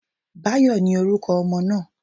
Báyò, ni oruko ọmọ naa